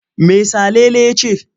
Me Salele ya ce?